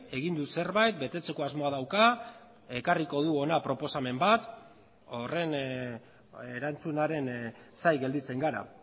egin du zerbait betetzeko asmoa dauka ekarriko du hona proposamen bat horren erantzunaren zain gelditzen gara